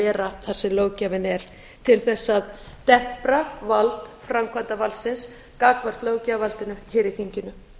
vera þar sem löggjafinn er til þess að tempra vald framkvæmdarvaldsins gagnvart löggjafarvaldinu hér í þinginu